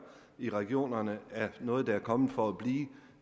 i regionerne er noget der er kommet for at blive